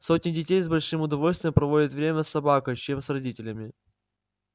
сотни детей с большим удовольствием проводят время с собакой чем с родителями